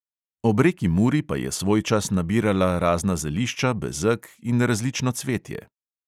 Ob reki muri pa je svojčas nabirala razna zelišča, bezeg in različno cvetje.